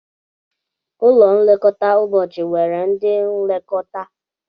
Ụlọ nlekọta ụbọchị nwere ndị nlekọta